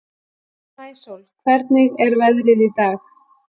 Snæsól, hvernig er veðrið í dag?